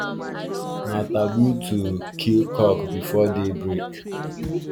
na taboo to kill cock before day break